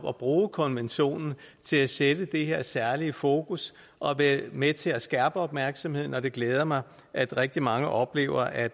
at bruge konventionen til at sætte det her særlige fokus og være med til at skærpe opmærksomheden og det glæder mig at rigtig mange oplever at